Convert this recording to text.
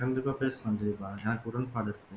கண்டிப்பா பேசணும் கிரிபா எனக்கு உடன்பாடு இருக்கு